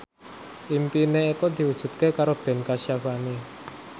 impine Eko diwujudke karo Ben Kasyafani